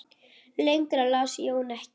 Lengra las Jón ekki.